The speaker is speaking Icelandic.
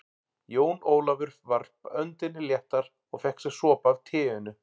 Jón Ólafur varp öndinni léttar og fékk sér sopa af teinu.